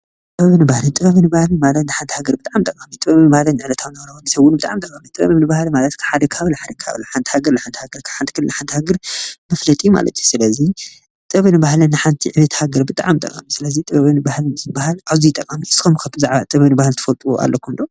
ጥበብን ባህሊን ጥበብን ባህሊን ማለት ንሓንቲ ሃገር ብጣዕሚ ጠቃሚ እዩ፡፡ ጥበብ ማለት ንዕለታዊ ስራሕቲ ብጣዕሚ ጠቃሚ እዩ፡፡ ጥበብን ባህሊን ማለት ሓደ ከባቢ ንሓደ ከባቢ ሓንቲ ሃገር ንሓንቲ ሃገር መፍለጢ ማለት እዩ፡፡ ስለዚ ጥበብን ባህሊን ንሓንቲ ዕቤት ሃገር ብጣዕሚ ጠቃሚ ስለዚ ጥበብን ባህሊን ዝበሃል አዝዩ ጠቃሚ እዩ፡፡ ንስኩም ኸ ብዛዕባ ጥበብን ባህሊን ትፈልጥዎ አለኩም ዶ?